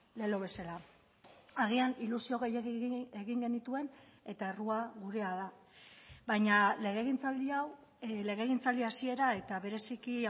lelo bezala agian ilusio gehiegi egin genituen eta errua gurea da baina legegintzaldi hau legegintzaldi hasiera eta bereziki